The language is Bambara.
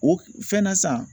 O fɛn na san